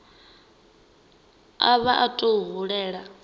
a vha o tou hulela